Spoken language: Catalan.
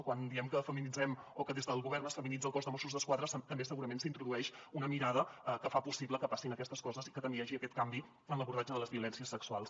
quan diem que feminitzem o que des del govern es feminitza el cos de mossos d’esquadra també segurament s’introdueix una mirada que fa possible que passin aquestes coses i que també hi hagi aquest canvi en l’abordatge de les violències sexuals